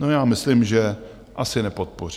No, já myslím, že asi nepodpoří.